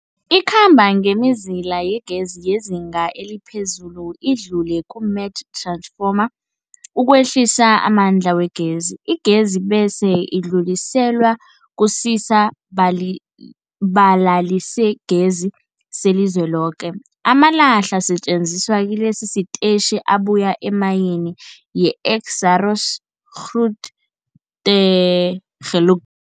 Ikhamba ngemizila yegezi yezinga eliphezulu idlule kumath-ransfoma ukwehlisa amandla wegezi. Igezi bese idluliselwa kusisa-balibalalisigezi selizweloke. Amalahle asetjenziswa kilesi sitetjhi abuya emayini yeExxaro's Grootegeluk.